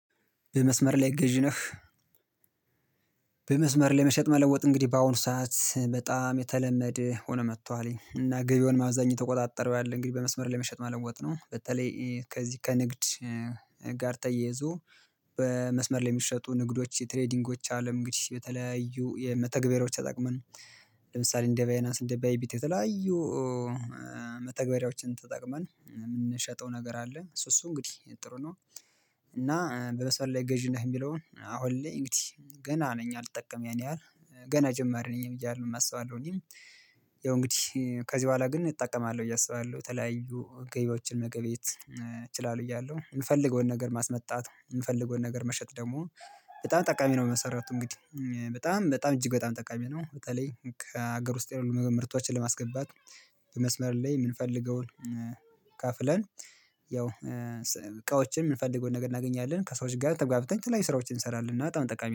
በመስመር ላይ ገዢ ነህ? በመስመር ለመሸጥ መለወጥ እንግዲህ በአሁኑ ሰዓት በጣም የተለመደ ሆኖ መጥቷልኝ እና ገበያውን አብዛኛው የተቆጣጠረው ያለ እንግዲህ በመስመር ላይ መሸጥ መለወጥ ነው በተለይ ከዚህ ከንግድ ጋር ተይዞ በመስመር ለሚሸጡ ንግዶች የትሬዲንጎች አለም እንግዲህ በተለያዩ የመተግበሮች ተጠቅመን ለምሳሌ እንደ ባይናስ እንደ ባይ ቢት የተለያዩ መተግበሪያዎችን ተጠቅመን የምንሸጠው ነገር አለ እሱ እሱ እንግዲህ ጥሩ ነው እና በመስመር ላይ ገዢ ነህ የሚለውን አሁን ላይ እንግዲህ ገና ነኝ አልጠቀምም ያን ያህል ገና ጀመርን እኔ እያልን አስባለሁኝ ያው እንግዲህ ከዚህ በኋላ ግን እጠቀማለሁ እያሰባለሁ ተለያዩ ገቢዎችን መገቢት እችላለሁ እያለሁ የምፈልገውን ነገር ማስመጣት የምፈልገውን ነገር መሸጥ ደግሞ በጣም ጠቃሚ ነው በመሠረቱት እንግዲህ በጣም በጣም እጅግ በጣም ጠቃሚ ነው በጣም ከሀገር ውስጥ የሆኑ መምህርቶችን ለማስገባት በመስመር ላይ የምንፈልገውን ከፍለን ያው እቃዎችን የምንፈልገውን ነገር እናገኛለን ከሰዎች ጋር ተግባብተን ላይ ስራዎችን እንሰራለን እና በጣም ጠቃሚ